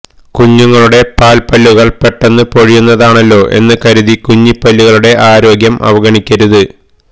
കുഞ്ഞുങ്ങളുടെ പാല്പ്പല്ലുകള് പെട്ടെന്നു പൊഴിയുന്നതാണല്ലോ എന്നു കരുതി കുഞ്ഞിപ്പല്ലുകളുടെ ആരോഗ്യം അവഗണിക്കരുത്